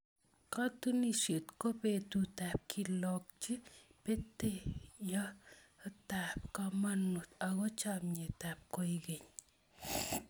Katunisyet ko betutab kelokchi peteyotab komonut ako chomnyetab koikeny.